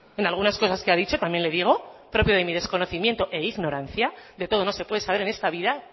en algunas cosas que ha dicho también le digo propio de mi desconocimiento e ignorancia de todo no se puede saber en esta vida